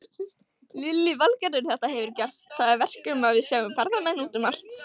Lillý Valgerður: Þetta hefur gert það að verkum að við sjáum ferðamenn út um allt?